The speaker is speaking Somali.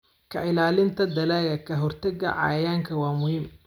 Ka ilaalinta dalagga ka hortagga cayayaanka waa muhiim.